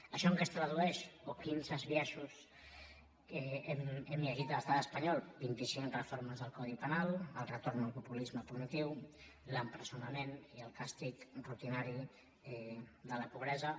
això en què es tradueix o quins biaixos n’hem llegit a l’estat espanyol vint i cinc reformes del codi penal el retorn al populisme punitiu l’empresonament i el càstig rutinari de la pobresa